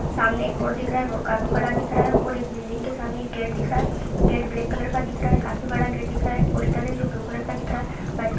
सामने एक रोड दिख रहा है रोड काफी बड़ा दिख रहा है और एक बिल्डिंग के सामने एक गेट दिख रहा है गेट ब्लैक कलर का दिख रहा है काफी बड़ा गेट दिख रहा है एक पोस्टर है जो ब्लू कलर का दिख रहा है।